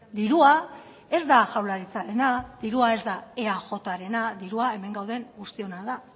dirua ez da jaurlaritzarena dirua ez da eajrena dirua hemen gauden guztiona da